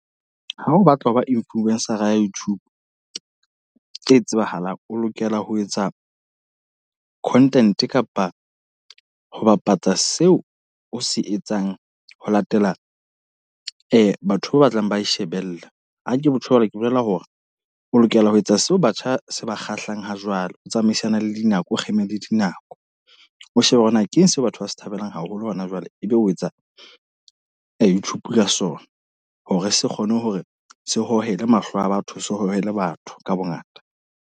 Ha o batla ho ba influence-ra ya YouTube, e tsebahalang. O lokela ho etsa content kapa ho bapatsa seo o se etsang ho latela batho ba batlang ba e shebella. Ha ke tjho jwalo ke bolela hore o lokela ho etsa seo batjha se ba kgahlang ha jwale, o tsamaisana le dinako, o kgeme le dinako. O shebe hore na keng seo batho ba se thabelang haholo hona jwale. Ebe o etsa a Youtube ka sona. Hore se kgone hore se hohele mahlo a batho. Se hohele batho ka bongata.